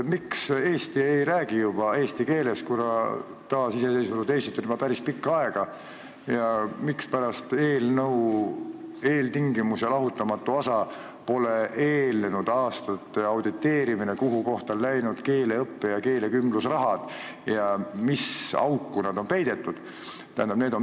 Miks Eestis ei räägita juba eesti keeles, kuigi taasiseseisvunud Eestit on olnud juba päris pikka aega, ja mispärast eelnõu eeltingimus ja lahutamatu osa pole eelnenud aastate audit selle kohta, kuhu kohta on läinud keeleõppe- ja keelekümblusraha ja mis auku see on peidetud?